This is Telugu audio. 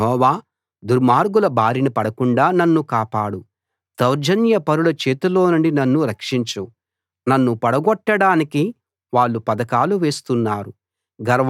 యెహోవా దుర్మార్గుల బారిన పడకుండా నన్ను కాపాడు దౌర్జన్యపరుల చేతిలోనుండి నన్ను రక్షించు నన్ను పడగొట్టడానికి వాళ్ళు పథకాలు వేస్తున్నారు